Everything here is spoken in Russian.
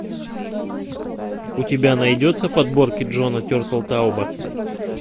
у тебя найдется подборки джона тертелтауба